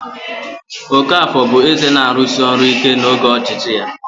Okafor bụ eze na-arụsi ọrụ ike n'oge ọchịchị ya.